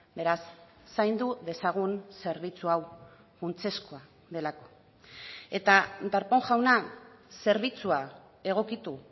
beraz zaindu dezagun zerbitzu hau funtsezkoa delako eta darpón jauna zerbitzua egokitu